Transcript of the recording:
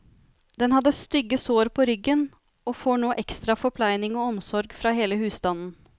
Den hadde stygge sår på ryggen, og får nå ekstra forpleining og omsorg fra hele husstanden.